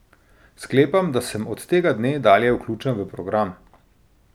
Sklepam, da sem od tega dne dalje vključen v program.